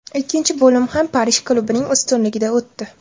Ikkinchi bo‘lim ham Parij klubining ustunligida o‘tdi.